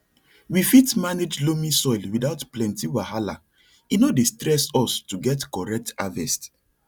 we fit manage loamy soil without plenty wahala e no dey stress us to get correct harvest